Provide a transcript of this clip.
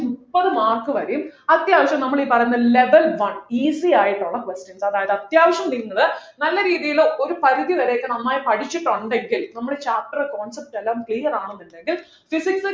മുപ്പത് mark വഴി അത്യാവശ്യം നമ്മൾ ഈ പറയുന്ന level one easy ആയിട്ടുള്ള questions അതായത് അത്യാവശ്യം നിങ്ങൾ നല്ല രീതിയിൽ ഒരു പരിധി വരെയൊക്കെ നന്നായി പഠിച്ചിട്ടുണ്ടെങ്കിൽ നമ്മുടെ chapter concept എല്ലാം clear ആകുന്നുണ്ടെങ്കിൽ physics